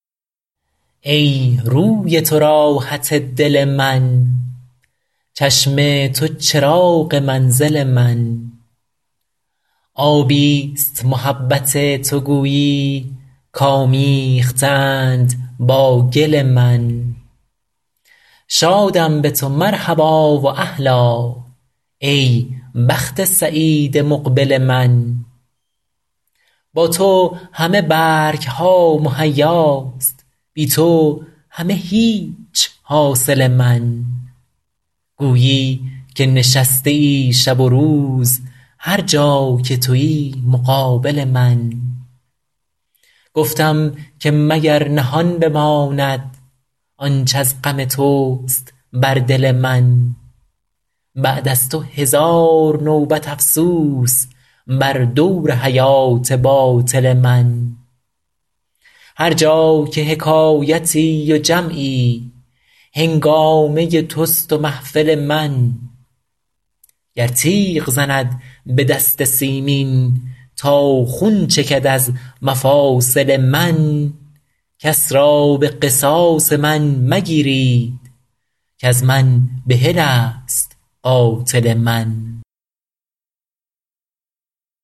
ای روی تو راحت دل من چشم تو چراغ منزل من آبی ست محبت تو گویی کآمیخته اند با گل من شادم به تو مرحبا و اهلا ای بخت سعید مقبل من با تو همه برگ ها مهیاست بی تو همه هیچ حاصل من گویی که نشسته ای شب و روز هر جا که تویی مقابل من گفتم که مگر نهان بماند آنچ از غم توست بر دل من بعد از تو هزار نوبت افسوس بر دور حیات باطل من هر جا که حکایتی و جمعی هنگامه توست و محفل من گر تیغ زند به دست سیمین تا خون چکد از مفاصل من کس را به قصاص من مگیرید کز من بحل است قاتل من